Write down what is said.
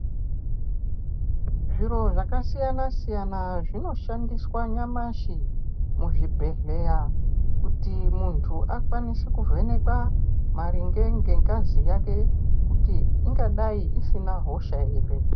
Zviro zvakasiyana-siyana, zvinoshandiswa nyamashi, muzvibhedhleya kuti muntu akwanise kuvhenekwa maringe ngengazi yake ,kuti ungadai isina hosha ere.